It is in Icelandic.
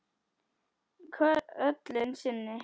Köllun sinni?